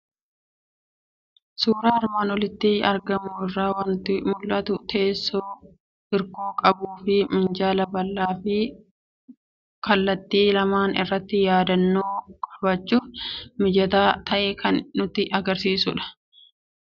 Suuraa armaan olitti argamu irraa waanti mul'atu; teessoo hirkoo qabuufi minjaala bal'aafi kallattii lamaan irratti yaadannoo qabachuuf mijataa ta'e kan nutti agarsiisudha. Akkasumas mana halluu adiin faayamee jiru kan nutti mul'isudha.